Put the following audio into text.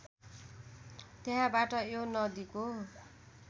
त्यहाँबाट यो नदीको